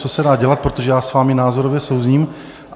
Co se dá dělat, protože já s vámi názorově souzním.